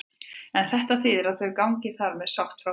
En þýðir þetta að þau gangi þar með sátt frá borði?